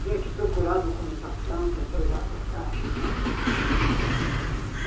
Tinha que procurar documentação para entregar para a Caixa e tal.